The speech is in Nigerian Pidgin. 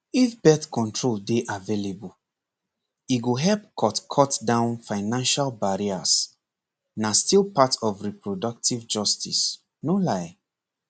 if birth control dey available e go help cut cut down financial barriers na still part of reproductive justice no lie